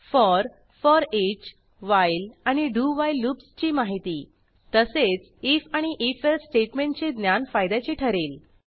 for for each while आणि do while लूप्सची माहिती तसेच आयएफ आणि if एल्से स्टेटमेंटचे ज्ञान फायद्याचे ठरेल